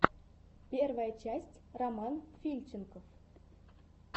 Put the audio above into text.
первая часть роман фильченков